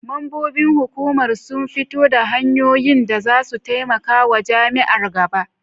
Mambobin hukumar sun fito da hanyoyin da za su taimaka wa jami'ar gaba.